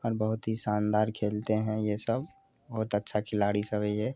और बोहोत ही शानदार खेलते है ये सब बोहोत अच्छा खिलाड़ी सब है ये--